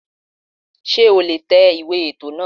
Sé o lè tẹ ìwé ètò náà